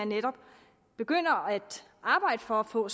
netop at begynde at arbejde for at få